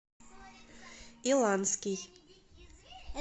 иланский